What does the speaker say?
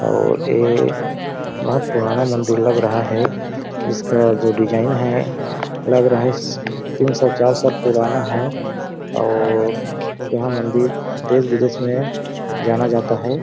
और ये बहोत पुराना मंदिल लग रहा है इसका जो डिज़ाइन है लग रहा है तीन सौ चार साल पुराना है और यह मन्दिर देश-विदेश में जाना जाता है।